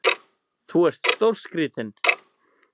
Þú ert stórskrítinn!